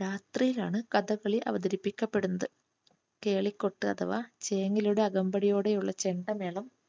രാത്രിയിലാണ് കഥകളി അവതരിപ്പിക്കപ്പെടുന്നത്. കേളികൊട്ട് അഥവാ ചേങ്ങിലയുടെ അകമ്പടിയോടെ ഉള്ള ചെണ്ടമേളം